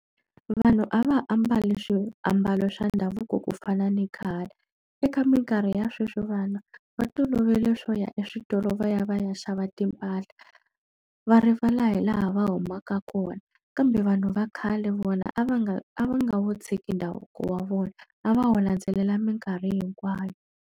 Vanhu a va ha ambali swiambalo swa ndhavuko ku fana ni khale. Eka minkarhi ya sweswi vana va tolovele swo ya eswitolo va ya va ya xava timpahla, va rivala hi laha va humaka kona. Kambe vanhu va khale vona a va nga a va nga wu tshiki ndhavuko wa vona, a va wu landzelela minkarhi hinkwayo.